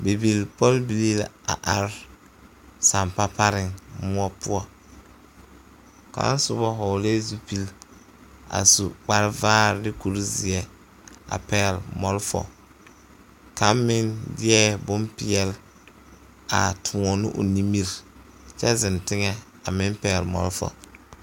Bibilpɔlbilii la are sampa pareŋ moɔ poɔ kaŋ soba hɔglɛɛ zupili a su kparevaare ne kurizeɛ a pɛgle malfa kaŋ meŋ deɛ bompeɛle a toɔ ne o nimiri kyɛ zeŋ teŋɛ a meŋ pɛgle malfa.